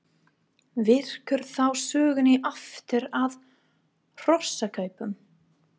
Víkur þá sögunni aftur að hrossakaupum.